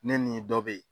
Ne ni dɔ be yen